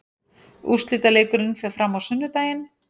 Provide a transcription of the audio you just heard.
Úrslitaleikurinn fer fram á sunnudaginn.